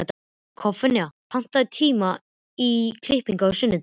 Kolfinna, pantaðu tíma í klippingu á sunnudaginn.